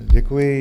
Děkuji.